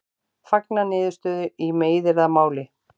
Fagna niðurstöðu í meiðyrðamáli